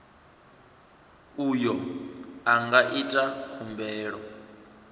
uyo a nga ita khumbelo